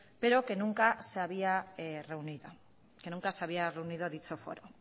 pero que nunca se había reunido